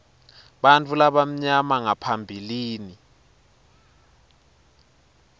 bantfu labamnyama ngaphambilini